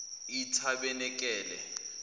etabenekele